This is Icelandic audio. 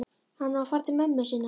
Hann á að fara til mömmu sinnar.